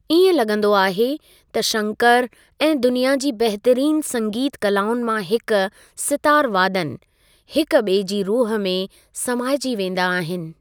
इएं लॻंदो आहे त शंकर ऐं दुनिया जी बहितरीन संगीत कलाउनि मां हिक सितार वादन, हिक ॿिए जी रूह में समाइजी वेंदा आहिनि।